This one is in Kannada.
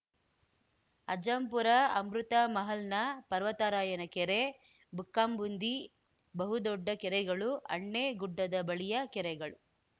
ಅಜ್ಜಂಪುರ ಅಮೃತಮಹಲ್‌ನ ಪರ್ವತರಾಯನ ಕೆರೆ ಬುಕ್ಕಾಂಬುಂದಿ ಬಹುದೊಡ್ಜ ಕೆರೆಗಳು ಅಣ್ಣೆ ಗುಡ್ಡದ ಬಳಿಯ ಕೆರೆಗಳು